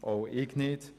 Auch ich nicht.